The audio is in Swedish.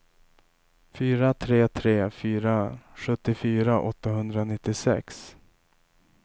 fyra tre tre fyra sjuttiofyra åttahundranittiosex